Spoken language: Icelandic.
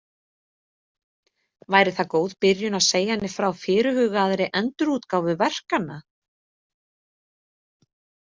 Væri það góð byrjun að segja henni frá fyrirhugaðri endurútgáfu verkanna?